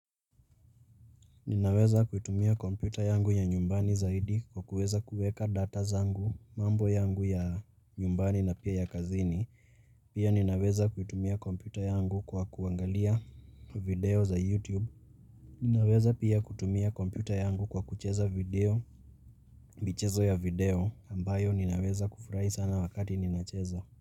Ninaweza kuitumia kompyuta yangu ya nyumbani zaidi kwa kuweza kueka data zangu, mambo yangu ya nyumbani na pia ya kazini. Pia ninaweza kuitumia kompyuta yangu kwa kuangalia video za YouTube. Ninaweza pia kutumia kompyuta yangu kwa kucheza video, michezo ya video ambayo ninaweza kufurahi sana wakati ninacheza.